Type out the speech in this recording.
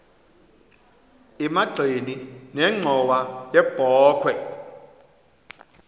emagxeni nenxhowa yebokhwe